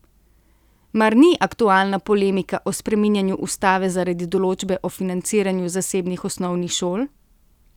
Mar ni aktualna polemika o spreminjanju ustave zaradi določbe o financiranju zasebnih osnovnih šol?